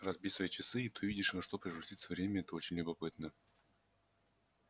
разбей свои часы и ты увидишь во что превратится время это очень любопытно